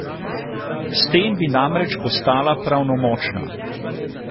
S tem bi namreč postala pravnomočna.